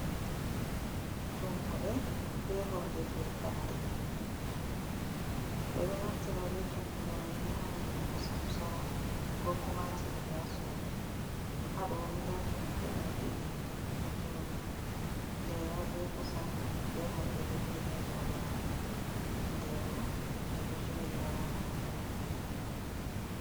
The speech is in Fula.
Tummuɗe be horde fefade ɓeɗo naftira be tummude maini ha wadugo kosam sora, ko kuma silugo ha sudu ha ɗoni nda tummude mai ɗiɗi ɗo joɗi ndema be kusam be horde do jodi yadoo mare nde bo nɗe ɗo joɗi wala koɗume ha nder mai.